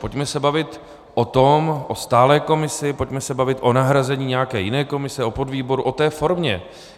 Pojďme se bavit o tom, o stálé komisi, pojďme se bavit o nahrazení nějaké jiné komise, o podvýboru, o té formě.